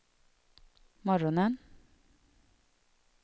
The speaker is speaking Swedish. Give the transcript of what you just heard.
morgonen